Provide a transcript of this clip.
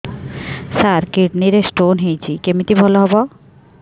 ସାର kidney ରେ stone ହେଇଛି କମିତି ଭଲ ହେବ